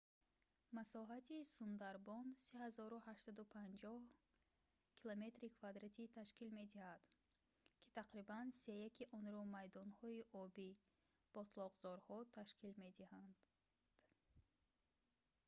масоҳати сундарбон 3850 км² ташкил медиҳад ки тақрибан сеяки онро майдонҳои обӣ/ботлоқзорҳо ташкил медиҳад